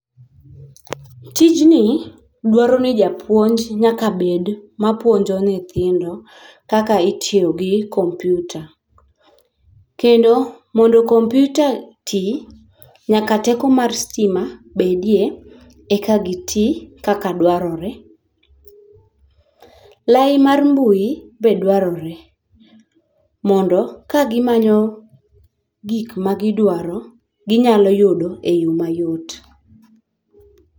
Tijni dwaro ni japuonj nyaka bed mapuonjo nyithindo kaka itiyo gi compute, kendo mondo computer ti nyaka teko mar stima bedie eka gi ti kaka dwarore, lai mar mbui be dwarore mondo ka gimanyo gik ma gidwaro ginyalo yudo e yo ma yot